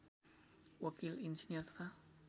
वकिल इन्जिनियर तथा